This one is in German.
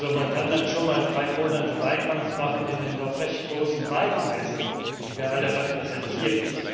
Man kann dann schon mal drei Monate Wahlkampf machen in den doch recht großen Wahlkreisen, die wir alle repräsentieren.